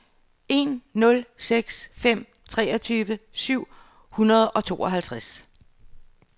en nul seks fem treogtyve syv hundrede og tooghalvtreds